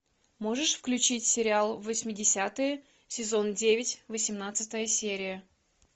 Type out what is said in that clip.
можешь включить сериал восьмидесятые сезон девять восемнадцатая серия